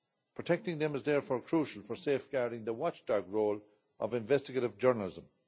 Protecting them is therefore crucial for safeguarding the watchdog role of investigative journalism.